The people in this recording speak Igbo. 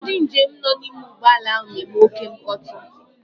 Ndị njem nọ n'ime ụgbọala a na-eme oké mkpọtụ.